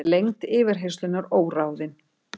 Lengd yfirheyrslunnar óráðin